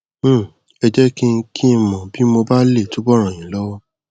um ẹ jẹ kí n kí n mọ bí mo bá lè túbọ ràn yín lọwọ